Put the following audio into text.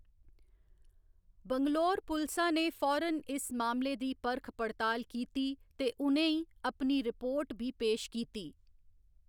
बैंगलोर पुलसा ने फौरन इस मामले दी परख पड़ताल कीती ते उ'नें अपनी रिपोर्ट बी पेश कीती।